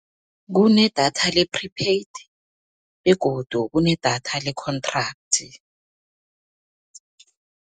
Kunedatha le-prepaid begodu kunedatha le-contract.